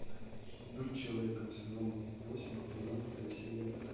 быть человеком сезон восемь тринадцатая серия